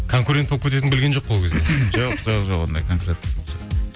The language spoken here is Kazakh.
конкурент болып кететінін білген жоқ ол кезде